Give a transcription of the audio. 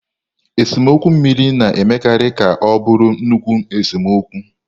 Esemokwu mmiri na-emekarị ka ọ bụrụ nnukwu esemokwu.